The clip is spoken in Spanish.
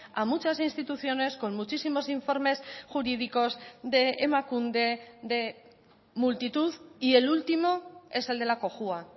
a muchas instituciones con muchísimos informes jurídicos de emakunde de multitud y el último es el de la cojua